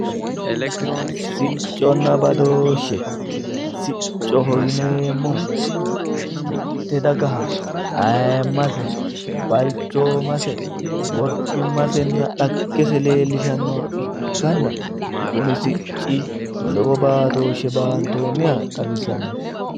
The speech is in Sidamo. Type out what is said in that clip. Sicconna badooshe, siccoho yineemmohu mitte dagaha ayiimmase balchoomase worbimmasenna dhaggese leellishshannoha ikkanna kuni sicci lowo baatooshshe baantonniha xawisanno.